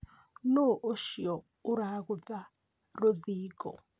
Nũũ ũcio ũragĩtha rũthingo?